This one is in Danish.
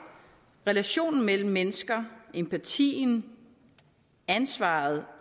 relationen mellem mennesker empatien ansvaret